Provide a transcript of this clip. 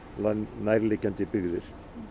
nærliggjandi byggðir